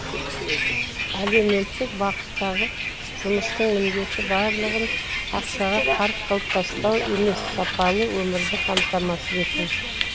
әлеуметтік бағыттағы жұмыстың міндеті барлығын ақшаға қарық қылып тастау емес сапалы өмірді қамтамасыз ету